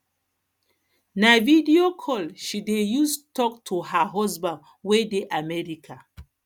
na video call she dey use tok to her husband wey dey america